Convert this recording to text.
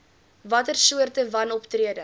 watter soorte wanoptrede